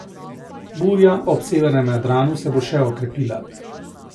Burja ob severnem Jadranu se bo še okrepila.